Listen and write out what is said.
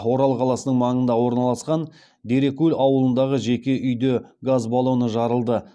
орал қаласының маңында орналасқан дерекул ауылындағы жеке үйде газ баллоны жарылды